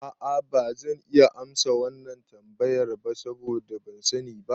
A'a bazan iya amsa wannan tambayar ba saboda ban sani ba